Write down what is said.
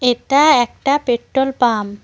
এটা একটা petrol pump.